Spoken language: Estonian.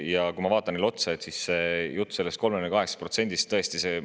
Ja kui ma vaatan neile otsa, siis see jutt 38%‑st.